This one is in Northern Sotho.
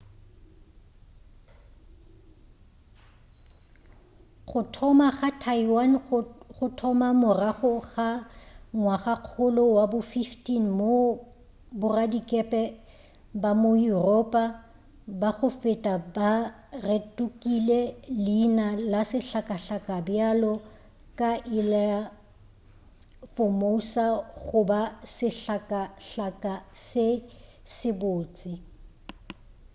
go thoma ga taiwan go thoma morago ka ngwagakgolo wa bo 15 moo boradikepe ba ma-yuropa ba go feta ba rekotile leina la sehlakahlaka bjalo ka ilha formosa goba sehlakahlaka se sebotse